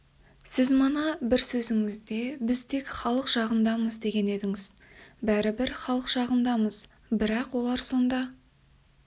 сіз мана бір сөзіңізде біз тек халық жағындамыз деген едіңіз бәрібір халық жағындамыз бірақ олар сонда